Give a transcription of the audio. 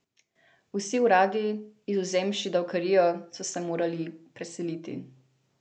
Vsi uradi, izvzemši davkarijo, so se morali preseliti.